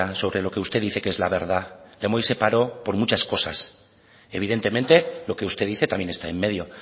sobre lo que usted dice que es la verdad lemoiz se paró por muchas cosas evidentemente lo que usted dice también está en medio